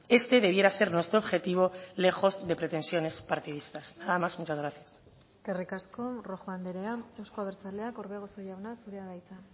este debiera ser nuestro objetivo lejos de pretensiones partidistas nada más muchas gracias eskerrik asko rojo andrea euzko abertzaleak orbegozo jauna zurea da hitza